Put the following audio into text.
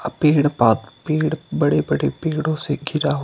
पेड़ प पेड़ बड़े बड़े पेड़ो से घिरा हू --